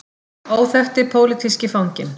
Óþekkti pólitíski fanginn.